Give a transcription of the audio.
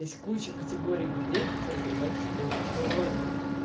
есть куча категории людей которые говорят о себе в мужском роде